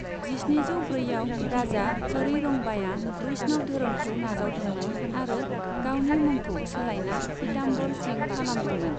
जिस्निजौ ब्रैआव, राजा चरैरंगबाया वैष्णव धोरोमखौ नाजावदोंमोन आरो गावनि मुंखौ सोलायना पिताम्बर सिंह खालामदोंमोन।